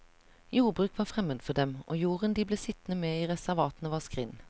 Jordbruk var fremmed for dem, og jorden de ble sittende med i reservatene var skrinn.